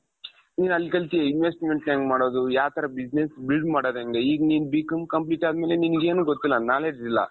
ಈಗ ಅನ್ಕೊಂತೀವಿ ಹೆಂಗ್ ಮಾಡೋದು ಯಾವ್ ತರ business build ಮಾಡೊದು ಹೆಂಗೆ ಈಗ ನೀನು B.com complete ಅದಮೇಲೆ ನಿನಗೇನೂ ಗೊತ್ತಿಲ್ಲ knowledge ಇಲ್ಲ .